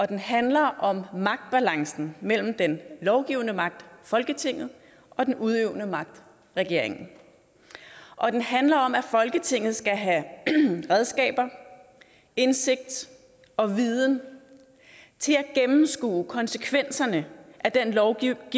den handler om magtbalancen mellem den lovgivende magt folketinget og den udøvende magt regeringen og den handler om at folketinget skal have redskaber indsigt og viden til at gennemskue konsekvenserne af den lovgivning